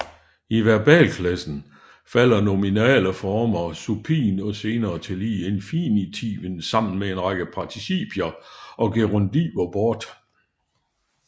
I verbalklassen falder nominale former supin og senere tillige infinitiven sammen med en række participier og gerundiver bort